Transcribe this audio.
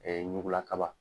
ɲugula kaba.